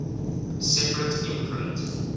separate imprint